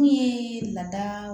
Mun ye lada